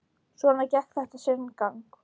Svona gekk þetta sinn gang.